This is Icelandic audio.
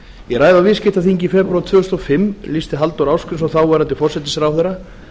í ræðu á viðskiptaþingi í febrúar tvö þúsund og fimm lýsti halldór ásgrímsson þáverandi forsætisráðherra